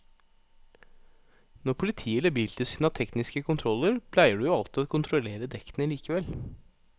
Når politiet eller biltilsynet har tekniske kontroller pleier de jo alltid å kontrollere dekkene likevel.